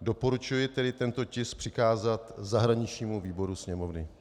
Doporučuji tedy tento tisk přikázat zahraničnímu výboru Sněmovny.